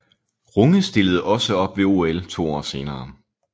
Runge stillede også op ved OL to år senere